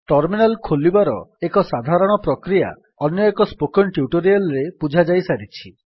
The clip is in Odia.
ଟର୍ମିନାଲ୍ ଖୋଲିବାର ଏକ ସାଧାରଣ ପ୍ରକ୍ରିୟା ଅନ୍ୟଏକ ସ୍ପୋକେନ୍ ଟ୍ୟୁଟୋରିଆଲ୍ ରେ ବୁଝାଯାଇସାରିଛି